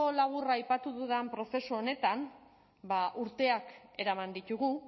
labur aipatu dudan prozesu honetan urteak eraman ditugu